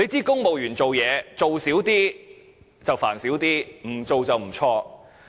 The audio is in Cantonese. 公務員辦事，少做一點，煩惱會少一點，不做就不會錯。